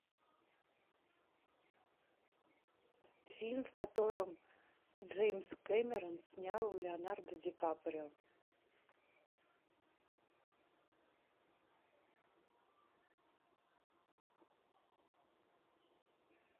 фильм в котором джеймс кэмерон снял леонардо ди каприо